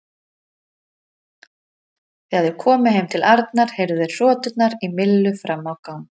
Þegar þeir komu heim til Arnar heyrðu þeir hroturnar í Millu fram á gang.